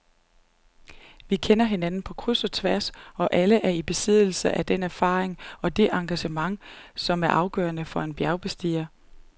Vi kender hinanden på kryds og tværs og er alle i besiddelse af den erfaring og det engagement, som er afgørende for en bjergbestiger.